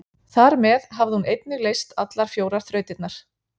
Þar með hafði hún einnig leyst allar fjórar þrautirnar.